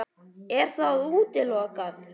Er það útilokað?